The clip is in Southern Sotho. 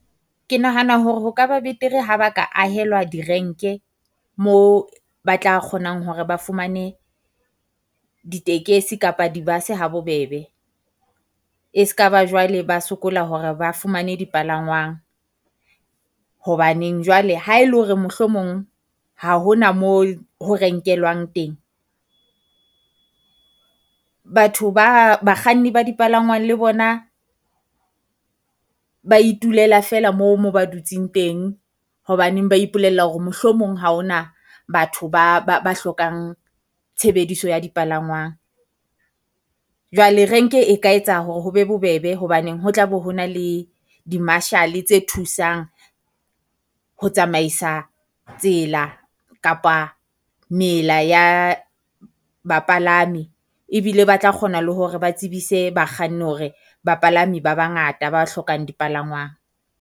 Ke nahana hore ho ka ba betere ha ba ka ahelwa direnke mo ba tla kgonang hore ba fumane ditekesi kapa di-bus-e ha bobebe. E ska ba jwale ba sokola hore ba fumane dipalangwang, hobaneng jwale ha e le hore mohlomong ha ho na moo ho renkelwang teng, batho ba bakganni ba dipalangwang le bona ba itulela feela moo moo ba dutseng teng. Hobaneng ba ipolella hore mohlomong ha ho na batho ba ba ba hlokang tshebediso ya dipalangwang. Jwale renke e ka etsa hore ho be bobebe hobaneng ho tla be ho na le di-Marshall-e tse thusang ho tsamaisa tsela kapa mela ya bapalami. Ebile ba tla kgona le hore ba tsebise bakganni hore bapalami ba bangata ba hlokang dipalangwang.